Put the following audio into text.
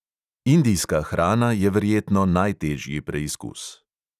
Indijska hrana je verjetno najtežji preizkus.